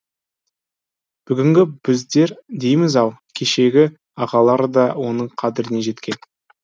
бүгінгі біздер дейміз ау кешегі ағалары да оның қадіріне жеткен